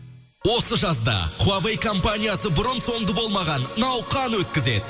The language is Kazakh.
осы жазда хуавей компаниясы бұрын сонды болмаған науқан өткізеді